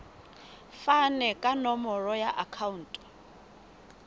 fane ka nomoro ya akhauntu